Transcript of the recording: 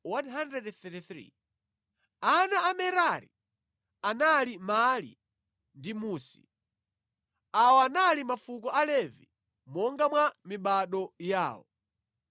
Ana a Merari anali Mali ndi Musi. Awa anali mafuko a Levi monga mwa mibado yawo.